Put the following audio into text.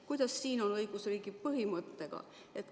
Kuidas siin on õigusriigi põhimõttega?